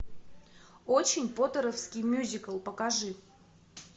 очень поттеровский мюзикл покажи